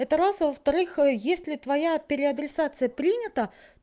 это раз а во-вторых если твоя переадресация принята